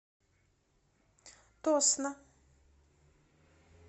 тосно